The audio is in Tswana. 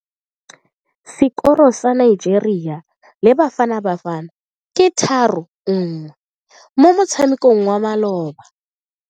Sekoro sa Nigeria le Bafanabafana ke 3-1 mo motshamekong wa maloba.